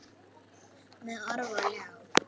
Með orf og ljá.